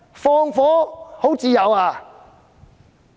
放火很自由吧？